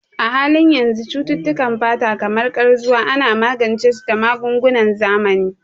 A halin yanzu, cututtukan fata kamar Ƙarzuwa ana magance su da magungunan zamani.